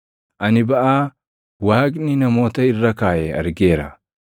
Ani baʼaa Waaqni namoota irra kaaʼe argeera.